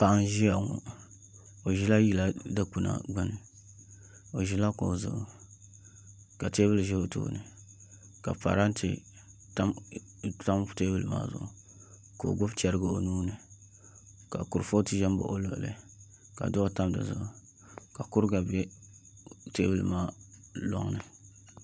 Paɣa n ʒiya ŋo o ʒila yili dikpuna gbuni o ʒila kuɣu zuɣu ka teebuli ʒɛ o tooni ka parantɛ tam teebuli maa zuɣu ka o gbubi chɛrigi o nuuni ka kurifooti ʒɛ n baɣa o luɣuli ka duɣu tam dizuɣu ka kuriga bɛ teebuli maa loŋni